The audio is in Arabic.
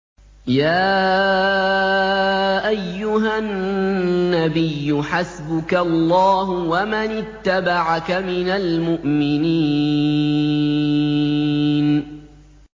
يَا أَيُّهَا النَّبِيُّ حَسْبُكَ اللَّهُ وَمَنِ اتَّبَعَكَ مِنَ الْمُؤْمِنِينَ